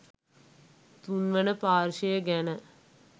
තුන්වන පාර්ශ්ව ගැන